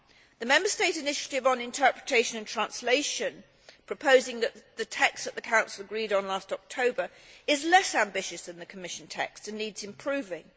The Member State initiative on interpretation and translation, proposing the text which the Council agreed on last October, is less ambitious than the Commission text and needs improving.